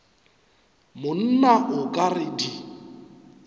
monna o ka re di